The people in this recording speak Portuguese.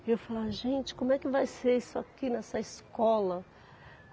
E eu falava, gente, como é que vai ser isso aqui nessa escola?